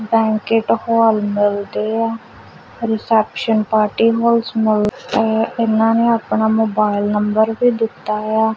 Banquet hall ਲਗਦੇ ਆ reception party hall ਚ ਲੱਗਦਾ ਹੈ ਇਹਨਾਂ ਨੇ ਆਪਣਾ ਮੋਬਾਇਲ ਨੰਬਰ ਵੀ ਦਿੱਤਾ ਹੋਇਆ।